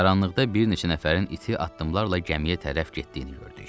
Qaranlıqda bir neçə nəfərin iti addımlarla gəmiyə tərəf getdiyini gördük.